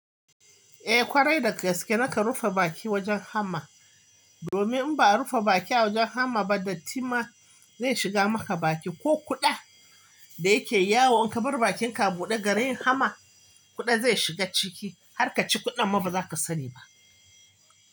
Eh kwarai da gaske naka rufe baki wajen hamma, domin in ba a rufe baki a wajen hamma ba, dattima zai shiga maka baki ko kuɗa da yake yawo in ka bar bakinka a buɗe garin hamma, kuɗa zai shiga ciki har ka ci kuɗan ma ba za ka sani ba.